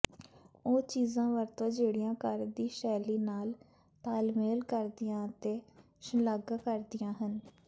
ਉਹ ਚੀਜ਼ਾਂ ਵਰਤੋ ਜਿਹੜੀਆਂ ਘਰ ਦੀ ਸ਼ੈਲੀ ਨਾਲ ਤਾਲਮੇਲ ਕਰਦੀਆਂ ਅਤੇ ਸ਼ਲਾਘਾ ਕਰਦੀਆਂ ਹਨ